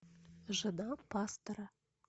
жена пастора